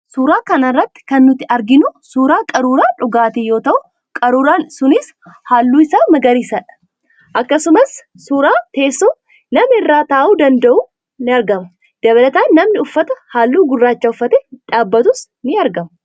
Suuraa kana irratti kan nuti arginu, suuraa qaruuraa dhugaatii yoo ta'u, qaruuraan sunis halluun isaa magariisadha. Akkasumas, suuraa teessoo namni irra taa'uu danda'uu in argama. Dabalataan, namni uffata halluu gurraacha uffatee dhaabbatuus in argama.